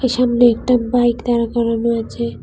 সামনে একটা বাইক দাঁড়া করানো আছে।